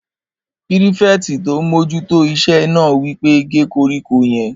Pírífẹ̀tì tó n mójú tó iṣẹ́ náà wí pé "gé koríko yẹn!"